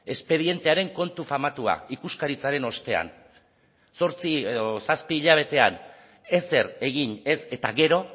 espedientearen kontu famatua ikuskaritzaren ostean zortzi edo zazpi hilabetean ezer egin ez eta gero